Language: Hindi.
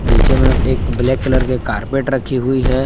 नीचे में एक ब्लैक की कलर की कार्पेट रखी हुई है।